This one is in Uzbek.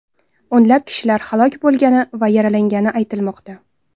O‘nlab kishilar halok bo‘lgani va yaralangani aytilmoqda.